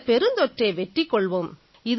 இந்தப் பெருந்தொற்றை வெற்றி கொள்வோம்